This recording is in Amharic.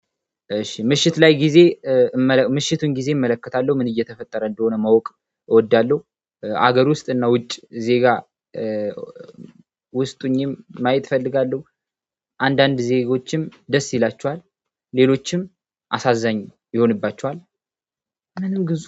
እሺ ምሽት ላይ ጊዜ ምሽቱን ጊዜ እመለከታለሁ ምን እየተፈጠረ እንደሆነ ማወቅ እወዳለሁ ሀገር ውስጥ እና ውጭ ዜጋ። ውስጥ ሆኜም ማየት እፈልጋለሁ። አንዳንድ ዜጎችም ደስ ይላችኋል። ሌሎችም አሳዛኝ ይሆንባችኋል። ምንም ግዙ